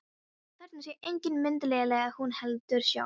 Þarna sé engin mynd léleg að hún heldur sjálf.